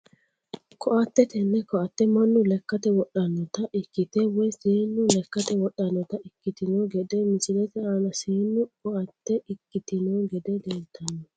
Koatte tene koatte manu lekatte wodhanota ikite woyi seenu lekate wodhanota ikitino gedde misilete aana seenu koatte ikitino gedde leeltano.